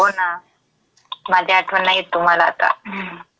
हो ना. माझी आठवण नाही येत तुम्हाला आता. हम्म.